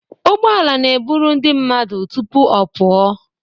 Ụgbọala n'eburu ndị mmadụ tụpụ ọ pụọ.